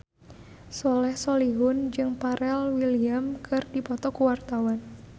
Soleh Solihun jeung Pharrell Williams keur dipoto ku wartawan